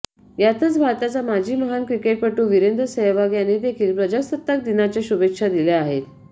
यातच भारताचा माजी महान क्रिकेटपटू वीरेंद्र सेहवाग याने देखील प्रजासत्ताक दिनाच्या शुभेच्छा दिल्या आहेत